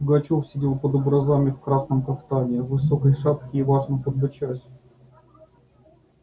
пугачёв сидел под образами в красном кафтане в высокой шапке и важно подбочась